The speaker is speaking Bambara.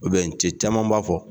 cɛ caman b'a fɔ